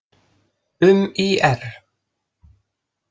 Um ÍR: